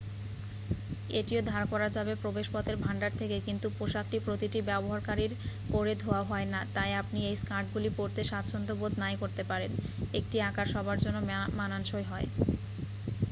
এটিও ধার করা যাবে প্রবেশপথের ভান্ডার থেকে কিন্তু পোশাকটি প্রতিটি ব্যবহারকারীর পরে ধোয়া হয় না তাই আপনি এই স্কার্টগুলি পড়তে স্বাচ্ছন্দ্যবোধ নাই করতে পারেন 1 টি আকার সবার জন্য মানানসই হয়